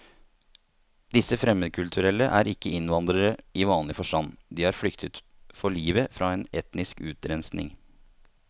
Disse fremmedkulturelle er ikke innvandrere i vanlig forstand, de har flyktet for livet fra en etnisk utrenskning.